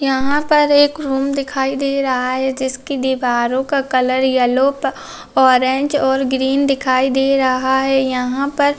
यहाँ पर एक रूम दिखाई दे रहा है जिसकी दीवारों का कलर येलो ऑरेंज और ग्रीन दिखाई दे रहा है यहाँ पर --